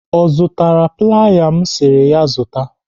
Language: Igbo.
Ọ zụtara playa m si ya zụta?